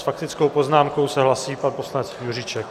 S faktickou poznámkou se hlásí pan poslanec Juříček.